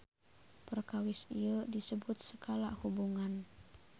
Perkawis ieu disebut skala hubungan.